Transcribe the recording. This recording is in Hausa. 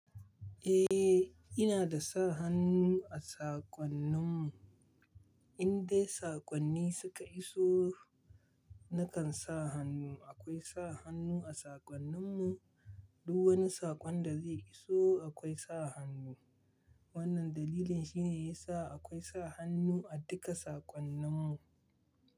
Eh, ina da sa hannu a saƙonnin mu. Indai saƙonni suka iso nakan sa hannu. Akwai sa hannu a saƙonnin mu, duk wani saƙon da zai iso akwai sa hannu. Wannan dalilin shine yasa akwai sa hannu a duka saƙonnin mu.